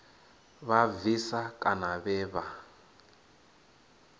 vha bvisa kana vhe vha